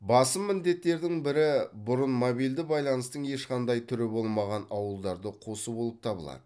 басым міндеттердің бірі бұрын мобильді байланыстың ешқандай түрі болмаған ауылдарды қосу болып табылады